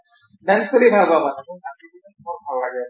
dance কৰি ভাল পাওঁ নাচি কিনে মোৰ ভাল লাগে ।